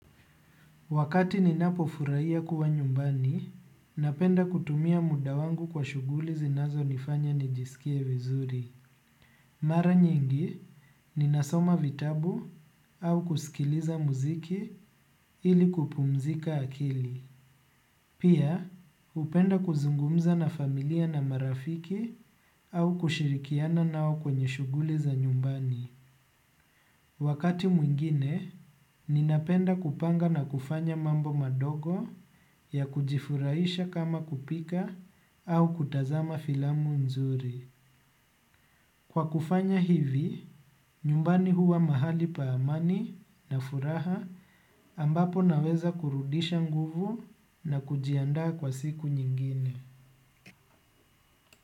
Wakati ninapofurahia kuwa nyumbani, napenda kutumia muda wangu kwa shughuli zinazonifanya nijisikie vizuri. Mara nyingi, ninasoma vitabu au kusikiliza muziki ili kupumzika akili. Pia, hupenda kuzungumza na familia na marafiki au kushirikiana nao kwenye shughuli za nyumbani. Wakati mwingine, ninapenda kupanga na kufanya mambo madogo ya kujifurahisha kama kupika au kutazama filamu nzuri. Kwa kufanya hivi, nyumbani huwa mahali pa amani na furaha ambapo naweza kurudisha nguvu na kujiandaa kwa siku nyingine.